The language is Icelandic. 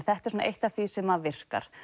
þetta er svona eitt af því sem að virkar